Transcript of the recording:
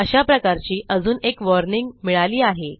अशा प्रकारची अजून एक वॉर्निंग मिळाली आहे